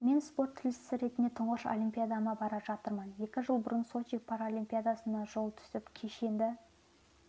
мен спорт тілшісі ретінде тұңғыш олимпиадама бара жатырмын екі жыл бұрын сочи паралимпиадасына жол түсіп кешенді